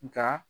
Nka